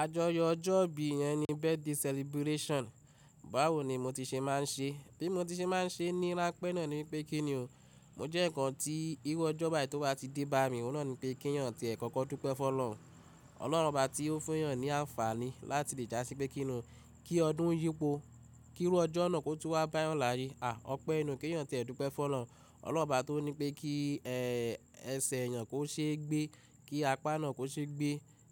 Ajoyo ọjọ́ ìbí yẹn ni birthday celebration. Báwo ni mo ti ṣe máa ń ṣe? Bí mo ti ṣe máa ń ṣe ni rà pẹ́ náà ni pé kíni o? Mo jẹ́ ǹkan tí irú ọjọ́ báyìí tó bá ti dé bá mi, òun náà ni pé kínyàn tí ẹ̀ kọ́kọ́ dúpẹ́ fún Ọlọ́run. Ọlọ́run obá tí ó fún yàn ní àǹfààní láti lè já sí pé kíni o, kí ọdún yípo, kí irú ọjọ́ náà kó tú wá bá yàn láàyè. À, ọpẹ́ inú kíyàn tí ẹ̀ dúpẹ́ fún Ọlọ́run. Ọlọ́run bá tó ní pé kí ẹsẹ̀ èèyàn kó ṣe gbé, kí apá náà kó ṣe gbé,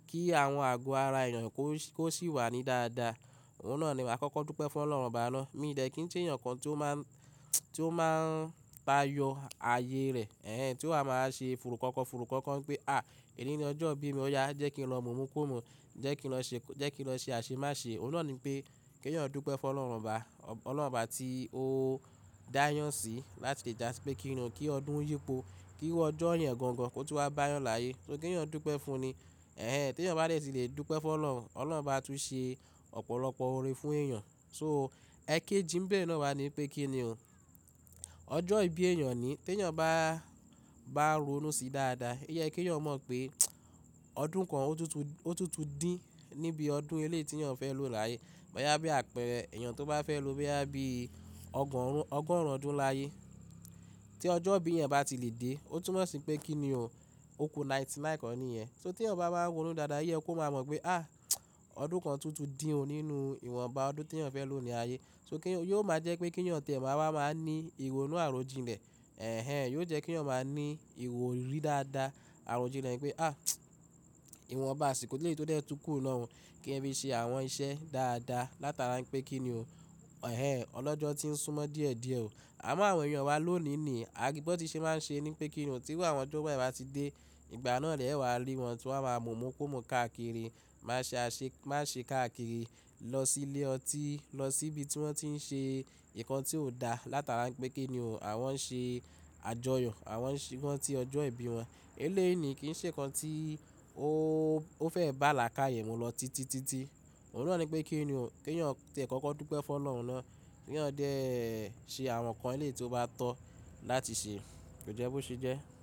kí àwọn àgọ́ ara èèyàn kó sì wà ní dáadáa. Òun náà ni màá kọ́kọ́ dúpẹ́ fún Ọlọ́run bá a lọ. Èmi ìdẹ́ kí n ṣe èèyàn kan tí ó máa ń, tí ó máa ń tayọ ààyè rẹ̀. Ẹ̀hẹn, tí ó máa ń ṣe fùrùkọ́kọ́, fùrùkọ́kọ́ pé à, èyí ni ọjọ́ ìbí mi ọ̀ya, jẹ́ kí n lọ mùmúkumú, jẹ́ kí n lọ ṣe, jẹ́ kí n lọ ṣe àṣemáṣe. Òun náà ni pé kíyàn dúpẹ́ fún Ọlọ́run bá, Ọlọ́run bá tí ó dá yàn sí láti lè já sí pé kíni o, kí ọdún yípo, kí irú ọjọ́ ìyẹn gangan kó tú wá bá yàn láàyè. So kíyàn dúpẹ́ fún un ni. Ẹ̀hẹn, tí èèyàn bá lè sì lè dúpẹ́ fún Ọlọ́run, Ọlọ́run bá tún ṣe ọ̀pọ̀lọpọ̀ orin fún èèyàn. So ẹkéji ǹbẹ̀ náà wa ni pé kíni o. Ọjọ́ ìbí èèyàn ni. Tí èèyàn bá, bá ronú sí dáadáa, o ye kí èèyàn mọ̀ pé ọdún kan ó tútù, ó tútù dín níbi ọdún elé tí èèyàn fẹ́ lò láàyè. Ọ̀yá bí àpẹẹrẹ, èèyàn tó bá fẹ́ lò bí àbí ọgọ́rùn, ọgọ́rùn ọdún láàyè. Tí ọjọ́ ìbí yẹn bá ti lè dé, ó tún mọ̀ sí pé kíni o, ó ku ninety nine kan níyẹn. So tí èèyàn bá máa ń ronú dáadáa, oyẹ kó máa mọ̀ pé à, ọdún kan tútù dín o nínú ìwọnba ọdún tí èèyàn fẹ́ lò ní ààyè. So kíyàn, yóò máa jẹ́ pé kíyàn tẹ́ ẹ máa wá máa ní ìrọ̀nù àròjinlẹ̀. Ẹ̀hẹn, yóò jẹ́ kí èèyàn máa ní ìrọ̀rí dáadáa, àròjinlẹ̀ pé à, ìwọnba asìkò leyi tó dẹ̀ tú kù náà o. Kí ẹ fi ṣe àwọn iṣẹ́ dáadáa látara pé kíni o. Ẹ̀hẹn, ọlọ́jọ́ tí ń súnmọ́ díẹ̀ díẹ̀ o. Àmọ́ àwọn èèyàn wa lónìí ni, a bo tí ṣe máa ń ṣe ni pé kíni o, tí irú àwọn ọjọ́ báyìí bá ti dé, ìgbà náà lẹ́ẹ́wàá rí wọn tí wọ́n máa ń mùnmúkumú káàkiri, máa ṣe àṣe, máa ṣe káàkiri, lọ sí ilé ọtí, lọ síbi tí wọ́n ti ń ṣe nǹkan tí ò dá látara pé kíni o. Àwọn ń ṣe àjọyọ̀, àwọn ń ṣe, ranti ọjọ́ ìbí wọn. Eléèni kì í ṣe nǹkan tí ó, ó fẹ́ bá là káàyè mi lọ títitítí. Òun náà ni pé kíni o, kíyàn tẹ́ ẹ kọ́kọ́ dúpẹ́ fún Ọlọ́run náà. Kíyàn dẹ̀ ẹ ṣe àwọn nǹkan eléyìí tí ó bá tọ́ láti ṣe. Kò jẹ́ bó ṣe jẹ́.